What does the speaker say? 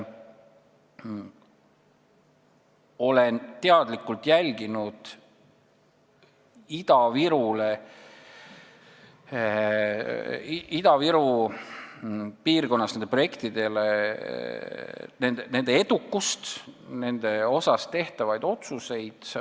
Olen teadlikult jälginud Ida-Viru piirkonna projektide edukust ja nende kohta tehtavaid otsuseid.